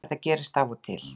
Þetta gerist af og til